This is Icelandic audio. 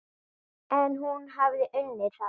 En hún hefði unnið þarna.